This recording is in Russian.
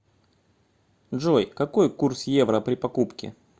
джой какой курс евро при покупке